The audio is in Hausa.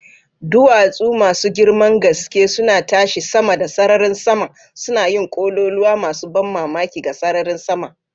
Duwatsu masu girman gaske suna tashi sama da sararin sama, suna yin kololuwa masu ban mamaki ga sararin sama.